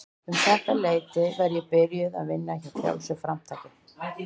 Um þetta leyti var ég byrjuð að vinna hjá Frjálsu framtaki.